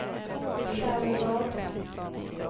Själevad